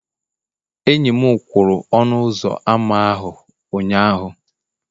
enyi m kwụrụ ọnụ ụzọ ámá ahụ ụnyahụ.